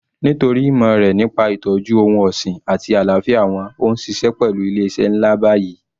Nítorí ìmọ̀ rẹ̀ nípa ìtọ́jú ohun ọ̀sìn àti àlàáfíà wọn ó ń ṣiṣẹ́ pẹlu ilé iṣẹ́ ńlá báyìí